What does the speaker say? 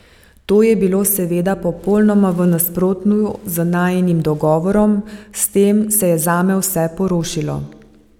To je bilo seveda popolnoma v nasprotju z najinim dogovorom, s tem se je zame vse porušilo.